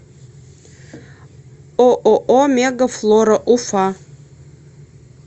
ооо мега флора уфа